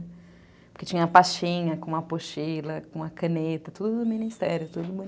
Porque tinha a pastinha com a apostila, com a caneta, tudo do Ministério, tudo bonitinho.